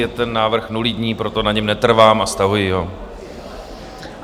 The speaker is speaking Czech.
Je ten návrh nulitní, proto na něm netrvám a stahuji ho.